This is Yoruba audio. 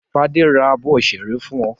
Fadé ra abọ́ ṣẹ́ẹ́rì fún ọ?